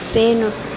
seno